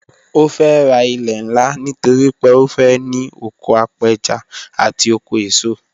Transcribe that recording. Ó fẹ́ ra ilẹ̀ ńlá nítorí pé ó fẹ́ ní oko apẹja àti oko eso